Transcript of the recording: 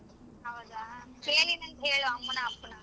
ಹೌದಾ ಕೇಳಿನಿ ಅಂತ್ ಹೇಳು ಅಮ್ಮನ ಅಪ್ಪನ.